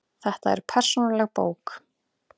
Þetta er persónuleg bók.